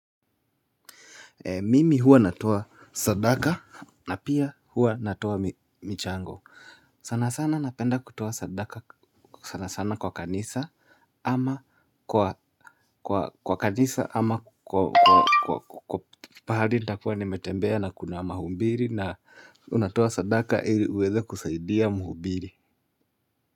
Mimi huwa natoa sadaka na pia huwa natoa michango sana sana napenda kutoa sadaka sana sana kwa kanisa ama kwa kanisa ama kwa pahali nitakuwa nimetembea na kuna mahubiri na unatoa sadaka ili uweze kusaidia mhubiri.